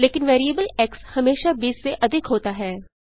लेकिन variable x हमेशा 20 से अधिक होता है